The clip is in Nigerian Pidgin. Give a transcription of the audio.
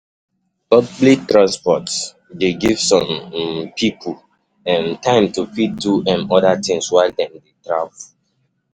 Public transport dey give some um pipo um time to fit do um oda things while dem dey travel